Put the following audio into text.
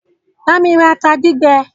Bámi ra ata gbígbẹ!